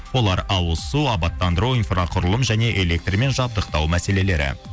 олар ауызсу абаттандыру инфроқұрылым және электрмен жабдықтау мәселелері